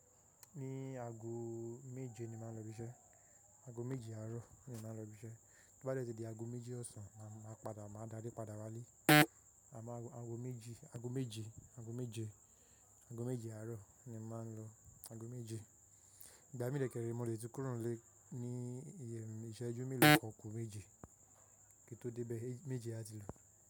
Ní aago méje ni màá n lọ ibi isẹ́, aago méje àárọ̀ ni màá n lọ ibi isẹ́. To bá dẹ́ ti di aago méje ọ̀sán, màá padà, màá darí padà wálé. Àmọ́ aago meji aago méje, aago méje aago méje àárọ̀ ni màá n lọ. Aago méje. Ìgbà mí dẹkẹẹrè mo lè ti kúrò n lé ní ìyè ìṣẹ́jú mélòó kan ku méje kí tó dé bẹ̀. Méje a ti lò.